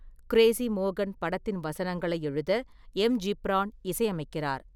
Crazy மோகன் படத்தின் வசனங்களை எழுத, எம்.ஜிப்ரான் இசையமைக்கிறார்.